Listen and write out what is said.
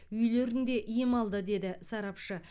үйлерінде ем алды деді сарапшы